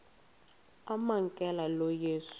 amamkela lo yesu